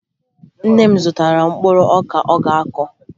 Nne m zụtara mkpụrụ ọka ọ ga-akụ